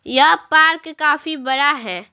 यह पार्क काफी बड़ा है।